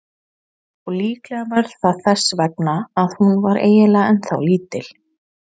Og líklega var það þess vegna að hún var eiginlega ennþá lítil.